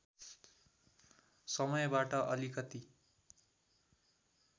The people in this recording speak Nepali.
समयबाट अलिकति